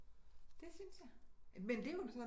Det synes jeg men det er jo